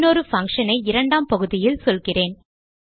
இன்னொரு பங்ஷன் ஐ இரண்டாம் பகுதியில் சொல்கிறேன்